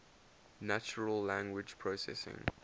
natural language processing